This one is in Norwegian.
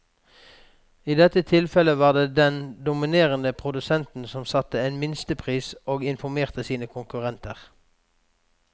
I dette tilfellet var det den dominerende produsenten som satte en minstepris og informerte sine konkurrenter.